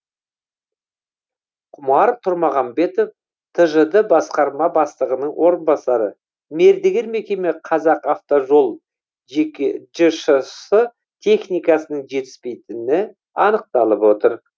құмар тұрмағамбетов тжд басқарма бастығының орынбасары мердігер мекеме қазақавтожол жшс техниканың жетіспейтіні анықталып отыр